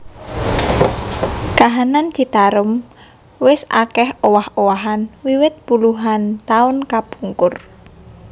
Kahanan Citarum wis akèh owah owahan wiwit puluhan taun kapungkur